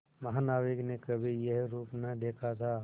महानाविक ने कभी यह रूप न देखा था